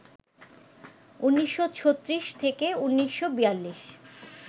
১৯৩৬-১৯৪২